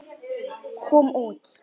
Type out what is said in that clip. kom út.